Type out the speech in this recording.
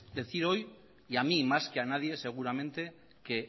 decir hoy y a mí más que a nadie seguramente que